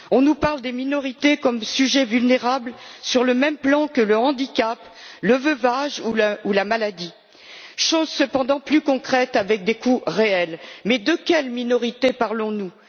On nous parle des minorités comme des sujets vulnérables sur le même plan que le handicap, le veuvage ou la maladie, choses cependant plus concrètes, qui ont des coûts réels. Mais de quelles minorités parlons nous?